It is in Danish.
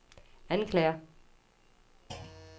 anklager